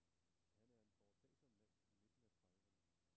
Han er en foretagsom mand i midten af trediverne.